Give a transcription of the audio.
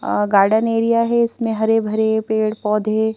garden area है इसमें हरे भरे पेड़-पौधे--